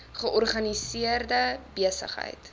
georganiseerde besig heid